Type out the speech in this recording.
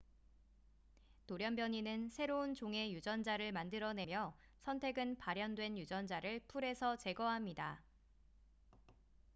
돌연변이는 새로운 종의 유전자를 만들어내며 선택은 발현된 유전자를 풀에서 제거합니다